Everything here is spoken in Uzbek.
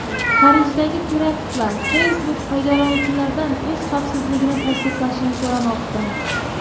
Parijdagi teraktlar: Facebook foydalanuvchilardan o‘z xavfsizligini tasdiqlashini so‘ramoqda.